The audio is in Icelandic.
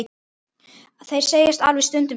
Þeir segjast alveg stundum slást.